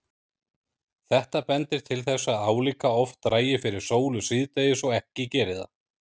Þetta bendir til þess að álíka oft dragi fyrir sólu síðdegis og ekki geri það.